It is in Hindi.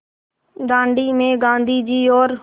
दाँडी में गाँधी जी और